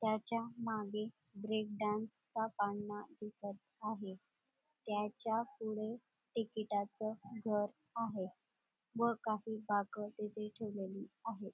त्याच्या मागे ब्रेकडांसचा पाळणा दिसत आहे त्याच्या पुढे टिकीटाच घर आहे व काही बाक तिथे ठेवलेली आहेत.